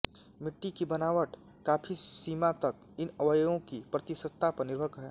मिट्टी की बनाबट काफी सीमा तक इन अवयवों की प्रतिशतता पर निर्भर है